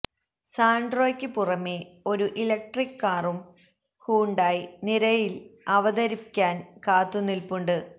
സാന്ട്രോയ്ക്ക് പുറമെ ഒരു ഇലക്ട്രിക് കാറും ഹ്യുണ്ടായി നിരയില് അവതരിക്കാന് കാത്തുനില്പുണ്ട്